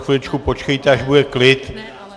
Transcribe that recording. Chviličku počkejte, až bude klid.